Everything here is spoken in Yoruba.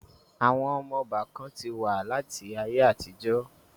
Àwọn ọmọ ọbà kan ti wà láti ayé àtijọ́